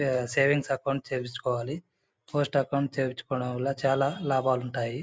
Savings account చేయిపించికోవాలి. Post account చేయిపించికోవడం వల్ల చాలా లాభాలు ఉంటాయి.